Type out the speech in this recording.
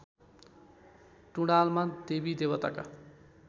टुँडालमा देवी देवताका